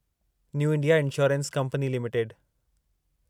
new India Assurance Company limited